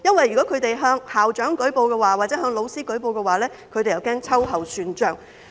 如果他們向校長或老師舉報，他們又怕被秋後算帳。